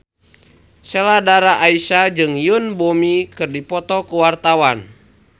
Sheila Dara Aisha jeung Yoon Bomi keur dipoto ku wartawan